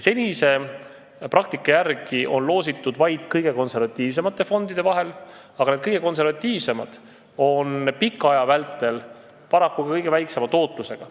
Senise praktika järgi on loosimine käinud vaid kõige konservatiivsemate fondide vahel, aga need on pika aja vältel paraku kõige väiksema tootlusega.